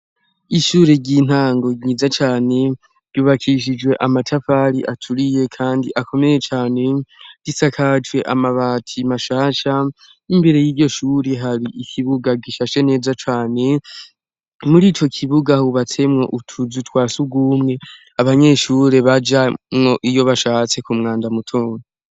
Ishure ry'intango ryiza cane ryubakishijwe amatafari aturiye, kandi akomeye cane risakajwe amabati mashasha imbere y'iryo shuri hari ikibuga gishashe neza cane muri ico kibuga hubatsemwo utuzu twa sugumwe abanyeshure bajamwo iyo bashahatse ku mwanja mutudu.